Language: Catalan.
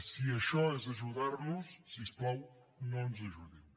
si això és ajudar nos si us plau no ens ajudin